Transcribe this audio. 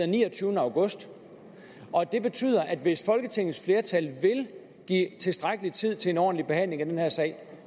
niogtyvende august og at det betyder at hvis folketingets flertal vil give tilstrækkelig tid til en ordentlig behandling af den her sag